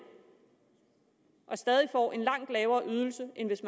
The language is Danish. og stadig får en langt lavere ydelse end hvis